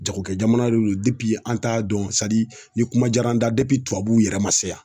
Jagokɛjamana de don an t'a dɔn ni kuma diyara an na tubabuw yɛrɛ ma sa